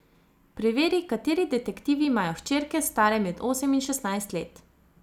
Preveri, kateri detektivi imajo hčerke, stare med osem in šestnajst let.